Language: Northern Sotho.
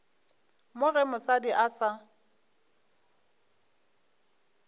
mo ge mosadi a sa